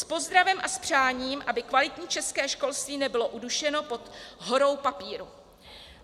S pozdravem a s přáním, aby kvalitní české školství nebylo udušeno pod horou papíru."